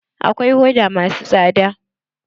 Akwai hoda masu tsada.